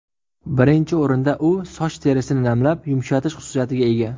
Birinchi o‘rinda, u soch terisini namlab, yumshatish xususiyatiga ega.